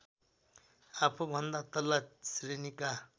आफूभन्दा तल्ला श्रेणीका